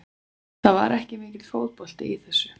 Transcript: Það var ekki mikill fótbolti í þessu.